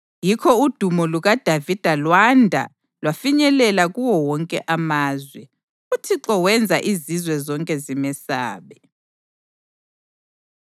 Yikho udumo lukaDavida lwanda lwafinyelela kuwo wonke amazwe, uThixo wenza izizwe zonke zimesabe.